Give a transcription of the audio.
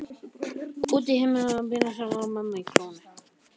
Út í himininn með bréfsnifsið hennar mömmu í klónum.